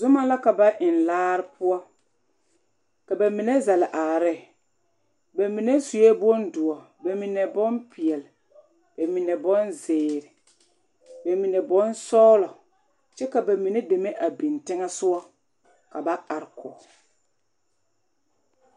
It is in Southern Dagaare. Zoma la ka ba eŋ laare poɔ ka ba mine zɛle are ne ba mine sue bondoɔ ba mine bompeɛle ba mine bonzeere ba mine bonsɔglɔ kyɛ ka ba mine deme a biŋ teŋɛsogɔ ka ba are kɔge.